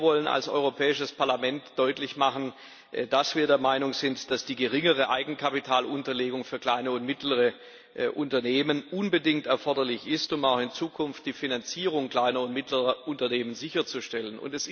Wir wollen als Europäisches Parlament deutlich machen, dass wir der Meinung sind, dass die geringere Eigenkapitalunterlegung für kleine und mittlere Unternehmen unbedingt erforderlich ist, um auch in Zukunft die Finanzierung kleiner und mittlerer Unternehmen sicherzustellen.